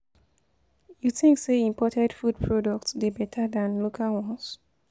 You think say imported food products dey beta than local ones?